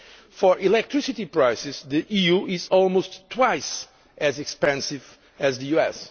For electricity prices, the EU is almost twice as expensive as the US.